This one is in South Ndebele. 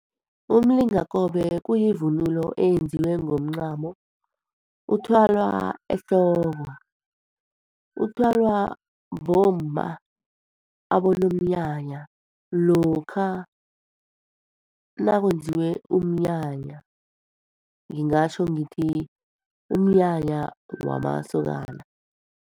Umlingakobe kuyivunulo eyenziwe ngomncamo, uthwalwa ehloko. Uthwalwa bomma abonomnyanya lokha nakwenziwe umnyanya, ngingatjho ngithi umnyanya wamasokana.